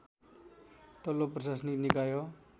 तल्लो प्रशासनिक निकाय